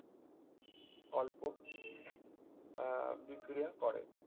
অল্প আহ বিক্রিয়া করে